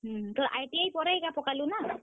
ହୁଁ, ତୋର ITI ପରେ ଇଟା ପକାଲୁ ନାଁ?